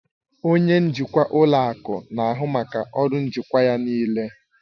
Onye njikwa ụlọ akụ na-ahụ maka ọrụ njikwa ya niile